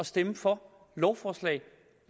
stemme for lovforslag